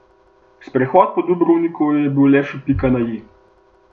Sprehod po Dubrovniku je bil le še pika na i.